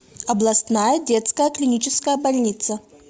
областная детская клиническая больница